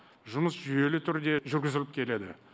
жұмыс жүйелі түрде жүргізіліп келеді